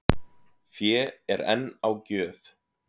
Fé er enn á gjöf